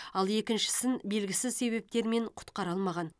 ал екіншісін белгісіз себептермен құтқара алмаған